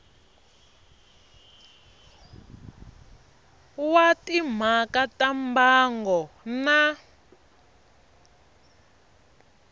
wa timhaka ta mbango na